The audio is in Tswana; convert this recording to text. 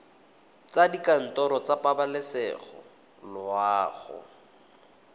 kwa dikantorong tsa pabalesego loago